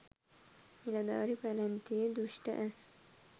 නිලධාරී පැලැන්තියේ දුෂ්‍ඨ ඇස්